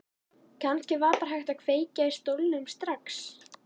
Kannski var bara hægt að kveikja í stólnum strax.